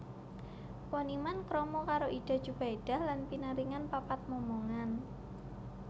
Poniman krama karo Ida Djubaedah lan pinaringan papat momongan